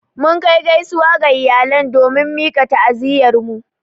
Mun Kai gaisuwa ga iyalan domin mika ta'aziyyar mu.